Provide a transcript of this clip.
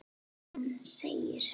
Hann segir: